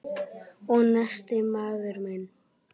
Og nestið, maður minn!